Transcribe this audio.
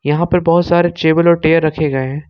यहां पर बहुत सारे टेबल और चेयर रखे गए हैं।